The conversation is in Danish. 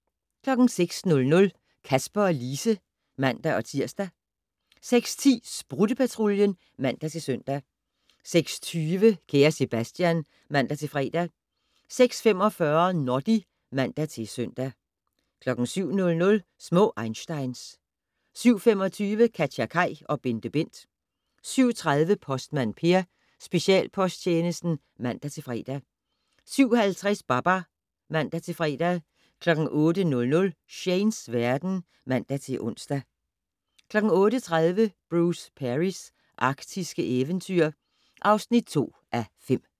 06:00: Kasper og Lise (man-tir) 06:10: Sprutte-Patruljen (man-søn) 06:20: Kære Sebastian (man-fre) 06:45: Noddy (man-søn) 07:00: Små einsteins 07:25: KatjaKaj og BenteBent 07:30: Postmand Per: Specialposttjenesten (man-fre) 07:50: Babar (man-fre) 08:00: Shanes verden (man-ons) 08:30: Bruce Perrys arktiske eventyr (2:5)